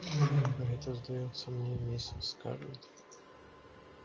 а это сдаётся мне миссис скарлетт